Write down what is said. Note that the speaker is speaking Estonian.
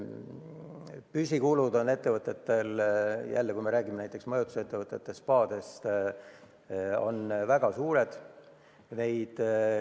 Püsikulud on ettevõtetel – kui me räägime majutusettevõtetest ja spaadest – väga suured.